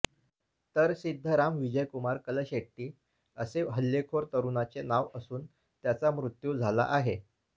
तर सिद्धराम विजयकुमार कलशेट्टी असे हल्लेखोर तरुणाचे नाव असून त्याचा मृत्यू झाला आहे